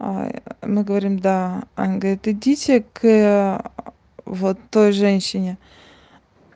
мы говорим да они говорят идите к вот той женщине